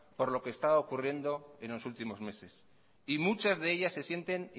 por lo que estaba ocurriendo en los últimos meses muchas de ellas se sienten